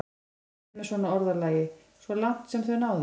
Hvað áttu við með svona orðalagi: svo langt sem þau náðu?